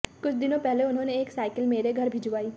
कुछ दिनों पहले उन्होंने एक साइकिल मेरे घर भिजवाई